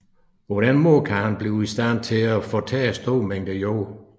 På den måde kan han blive i stand til at fortære store mængder jord